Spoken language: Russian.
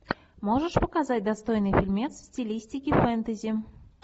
можешь показать достойный фильмец в стилистике фэнтези